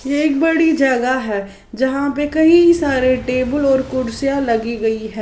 यह एक बड़ी जगह है जहां पे कई सारे टेबल और कुर्सियां लगी गई है।